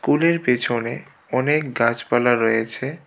স্কুলের পেছনে অনেক গাছপালা রয়েছে.